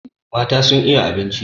Mata sun iya abinci.